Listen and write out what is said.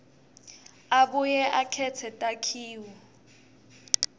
abuye akhetse takhiwo